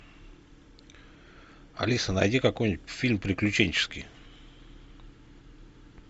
алиса найди какой нибудь фильм приключенческий